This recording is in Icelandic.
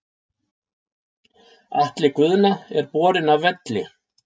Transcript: Atli Guðna er borinn af velli.